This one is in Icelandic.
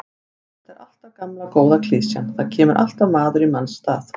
Þetta er alltaf gamla góða klisjan, það kemur alltaf maður í manns stað.